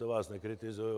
To vás nekritizuji.